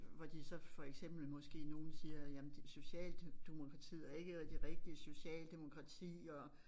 Hvor de så for eksempel måske nogen siger jamen Socialdemokratiet er ikke det rigtige socialdemokrati og